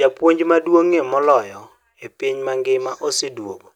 "Japuonj maduong'ie moloyo e piny mangima oseduogo,